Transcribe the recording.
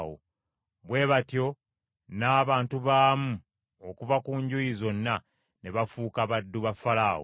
Bwe batyo n’abantu baamu okuva ku njuyi zonna ne bafuuka baddu ba Falaawo.